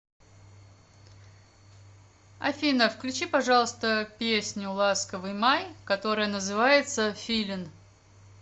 афина включи пожалуйста песню ласковый май которая называется филин